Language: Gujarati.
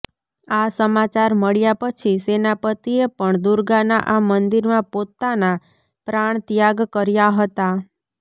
આ સમાચાર મળ્યા પછી સેનાપતિએ પણ દુર્ગાના આ મંદિરમાં પોતાના પ્રાણ ત્યાગ કર્યા હતા